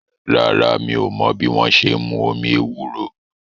Rárá, mi ò mọ́ bí wọ́n ṣe n mú omi ewúro